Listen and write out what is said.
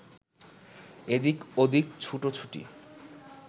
এদিক ওদিক ছুটো-ছুটি